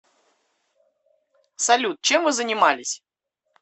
салют чем вы занимались